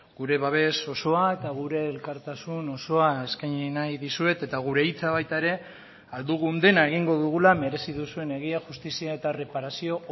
gure babes osoa eta gure elkartasun osoa eskaini nahi dizuet eta gure hitza baita ere ahal dugun dena egingo dugula merezi duzuen egia justizia eta erreparazio